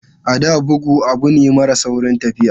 A da, bugu abu ne mara saurin tafiya.